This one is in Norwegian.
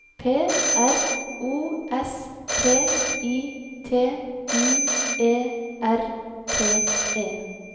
P R O S T I T U E R T E